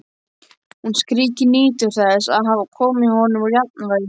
Hún skríkir, nýtur þess að hafa komið honum úr jafnvægi.